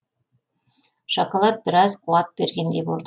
шоколад біраз қуат бергендей болды